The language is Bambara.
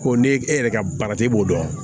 Ko ne e yɛrɛ ka baara tɛ e b'o dɔn